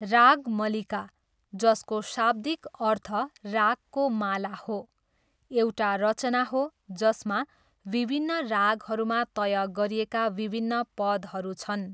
रागमलिका, जसको शाब्दिक अर्थ रागको माला हो, एउटा रचना हो जसमा विभिन्न रागहरूमा तय गरिएका विभिन्न पदहरू छन्।